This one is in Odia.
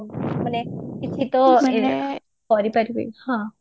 ମାନେ କିଛି ତ କରିପାରିବି